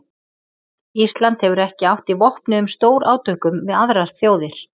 Ísland hefur ekki átt í vopnuðum stórátökum við aðrar þjóðir.